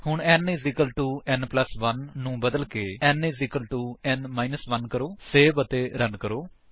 ਹੁਣ n n 1 ਨੂੰ ਬਦਲਕੇ n n 1 ਕਰੋ ਸੇਵ ਅਤੇ ਰਨ ਕਰੋ